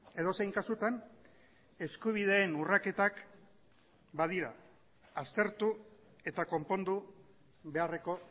edozein kasutan eskubideen urraketak badira aztertu eta konpondu beharreko